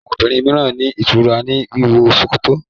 Àwọn obìrin míràn ní ìtura ní wíwọ ṣòkòtò